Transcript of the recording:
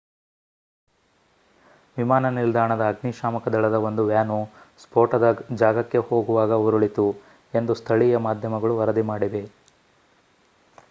ವಿಮಾನ ನಿಲ್ದಾಣದ ಅಗ್ನಿ ಶಾಮಕ ದಳದ ಒಂದು ವ್ಯಾನು ಸ್ಫೋಟದ ಜಾಗಕ್ಕೆ ಹೋಗುವಾಗ ಉರುಳಿತು ಎಂದು ಸ್ಥಳೀಯ ಮಾಧ್ಯಮಗಳು ವರದಿ ಮಾಡಿವೆ